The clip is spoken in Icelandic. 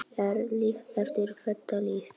Er líf eftir þetta líf?